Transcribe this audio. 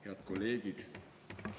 Head kolleegid!